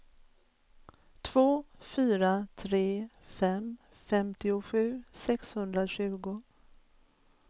två fyra tre fem femtiosju sexhundratjugo